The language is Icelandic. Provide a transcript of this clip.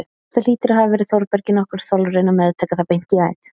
Það hlýtur að hafa verið Þórbergi nokkur þolraun að meðtaka það beint í æð.